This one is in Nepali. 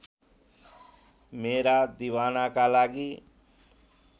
मेरा दिवानाका लागि